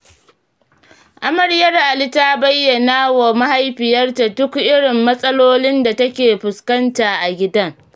Amaryar Ali ta bayyana wa mahaifiyarta duk irin matsalolin da take fuskanta a gidan.